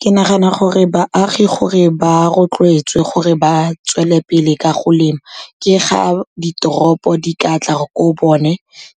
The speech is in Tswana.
ke nagana gore baagi gore ba rotloetswe gore ba tswelele pele ka go lema, ke ga ditoropo di ka tla ko bone